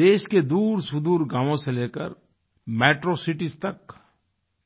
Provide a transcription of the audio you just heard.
देश के दूरसुदूर गावों से लेकर मेट्रो सिटीज तक